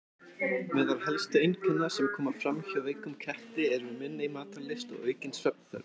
Meðal helstu einkenna sem koma fram hjá veikum ketti eru minni matarlyst og aukin svefnþörf.